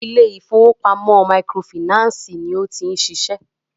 ilé ìfọwọ́pamo microfinancii ní o ti ń ṣiṣẹ́.